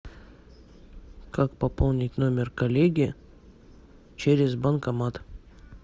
как пополнить номер коллеги через банкомат